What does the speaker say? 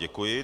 Děkuji.